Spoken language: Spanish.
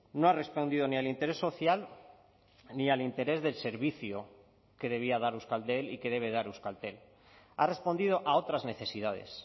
no ha respondido ni al interés social ni al interés del servicio que debía dar euskaltel y que debe dar euskaltel ha respondido a otras necesidades